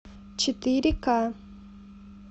четыре к